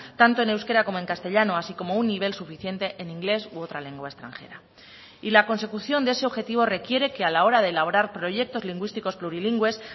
tanto en euskera como en castellano así como un nivel suficiente en inglés u otra lengua extranjera y la consecución de ese objetivo requiere que a la hora de elaborar proyectos lingüísticos plurilingües